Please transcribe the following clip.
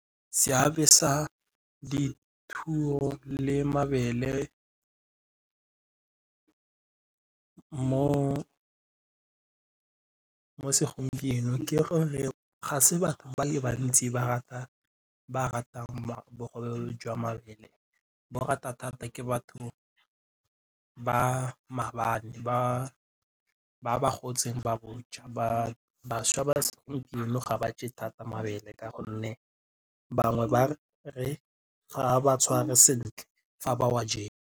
Seabe sa dithuo le mabele mo segompienong ke gore ga se batho ba le bantsi ba ratang bogobe jwa mabele ba rata thata ke batho ba maabane ba ba gotseng ba bo ja ba bašwa ba segompieno ga ba je thata mabele ka gonne bangwe ba re ga ba tshware sentle fa ba wa jele.